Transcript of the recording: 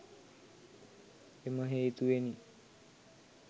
එම හේතුවෙනි.